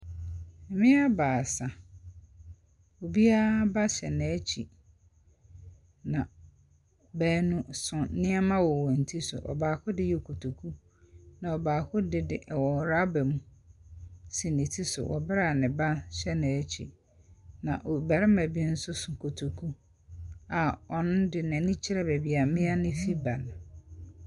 Mmea baasa; obiara ba hyɛ n'akyi. Na wɔso nnɛma wɔ wɔn ti so. Na wɔso nnɛma wɔ wɔn ti so. Ɔbaako de wzɔ kotoku mu. Na ɔbaako de de, ɛwɔ rubber mu si ne ti so wɔ bere a ne ba hyɛ n'akyi na ɔbarima bi nso so kɔtoku a ɔno n'ani kyerɛ baabi mmea no fi reba.